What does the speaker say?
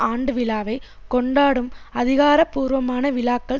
ஆண்டு விழாவை கொண்டாடும் அதிகாரபூர்வமான விழாக்கள்